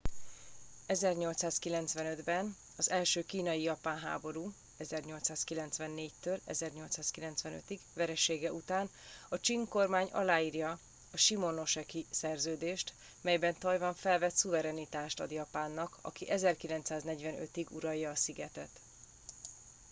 1895-ben az első kínai-japán háború 1894-1895 veresége után a csing kormány aláírja a shimonoseki szerződést amelyben tajvan felett szuverenitást ad japánnak aki 1945-ig uralja a szigetet